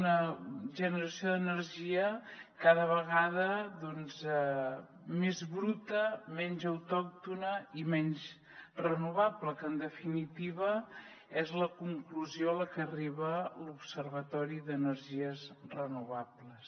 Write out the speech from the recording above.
una generació d’energia cada vegada més bruta menys autòctona i menys renovable que en definitiva és la conclusió a la que arriba l’observatori de les energies renovables